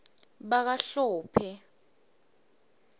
bakahlophe